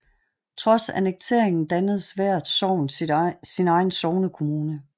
Trods annekteringen dannede hvert sogn sin egen sognekommune